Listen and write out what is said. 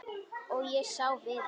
Og ég sá Viðar.